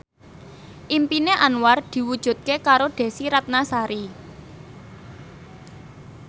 impine Anwar diwujudke karo Desy Ratnasari